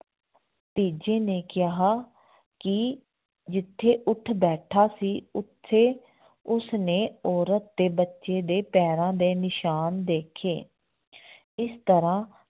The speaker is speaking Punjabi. ਤੀਜੇ ਨੇ ਕਿਹਾ ਕਿ ਜਿੱਥੇ ਊਠ ਬੈਠਾ ਸੀ ਉੱਥੇ ਉਸਨੇ ਔਰਤ ਤੇ ਬੱਚੇ ਦੇ ਪੈਰਾਂ ਦੇ ਨਿਸ਼ਾਨ ਦੇਖੇ ਇਸ ਤਰ੍ਹਾਂ